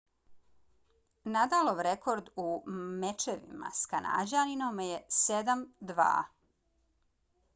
nadalov rekord u mečevima s kanađaninom je 7–2